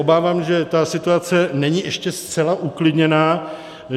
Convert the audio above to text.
Obávám se, že situace není ještě zcela uklidněná.